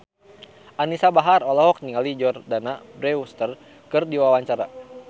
Anisa Bahar olohok ningali Jordana Brewster keur diwawancara